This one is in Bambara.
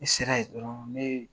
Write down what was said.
Ne sera yen dɔrɔn ne ye